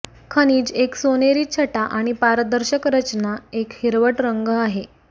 खनिज एक सोनेरी छटा आणि पारदर्शक रचना एक हिरवट रंग आहे